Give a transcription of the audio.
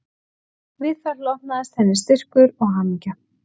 Við það hlotnaðist henni styrkur og hamingja